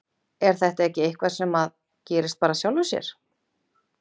Er þetta ekki eitthvað sem að gerist bara að sjálfu sér?